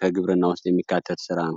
ከግብርና ውስጥ የሚካተት ስራ ነው።